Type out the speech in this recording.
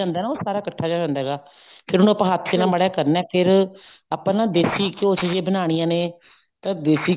ਜਾਂਦਾ ਨਾ ਉਹ ਸਾਰਾ ਇੱਕਠਾ ਜਾ ਹੋ ਜਾਂਦਾ ਹੈਗਾ ਫ਼ੇਰ ਉਹਨੂੰ ਆਪਾਂ ਹੱਥ ਨਾਲ ਮਾੜਾ ਜਾ ਕਰਨਾ ਫ਼ੇਰ ਆਪਾਂ ਦੇਸੀ ਘਿਉ ਚ ਜੇ ਬਨਾਣੀਆਂ ਨੇ ਤਾਂ ਦੇਸੀ